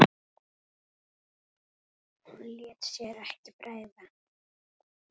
Hún lét sér ekki bregða.